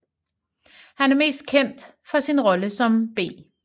Han er mest kendt for sin rolle som B